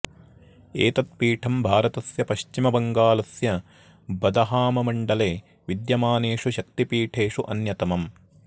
एतत् पीठं भारतस्य पश्चिमबङ्गालस्य बदहाममण्डले विद्यमानेषु शक्तिपीठेषु अन्यतमम्